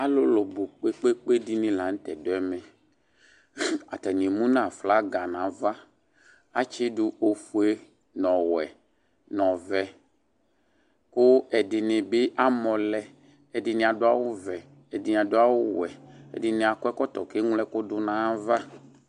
Alʋ bʋ kpe kpe dɩnɩ la nʋ tɛ dʋ ɛmɛ. Atanɩ emu aflaga nʋ ava. Atsɩdʋ ofue nʋ ɔwɛ nʋ ɔvɛ kʋ ɛdɩnɩ bɩ amɔ lɛ. Ɛdɩnɩ adʋ awʋvɛ, ɛdɩnɩ adʋ awʋwɛ, ɛdɩnɩ akɔ ɛkɔtɔ kʋ eŋlo ɛkʋdʋ nʋ ayava.